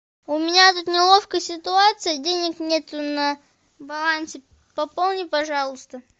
у меня тут неловкая ситуация денег нету на балансе пополни пожалуйста